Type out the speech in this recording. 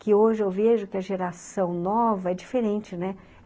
que hoje eu vejo que a geração nova é diferente, né?